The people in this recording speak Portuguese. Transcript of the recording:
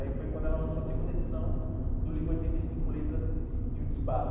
Aí foi quando ela lançou a segunda edição do livro Oitenta e Cinco Letras e Um Disparo.